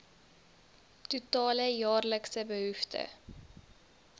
totale jaarlikse behoefte